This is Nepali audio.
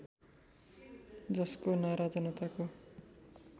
जसको नारा जनताको